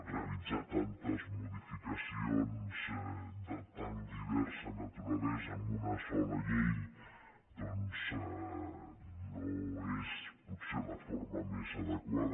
realitzar tantes modificacions de tan diversa naturalesa amb una sola llei doncs no és potser la forma més adequada